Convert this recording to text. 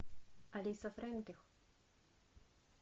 алиса фрейндлих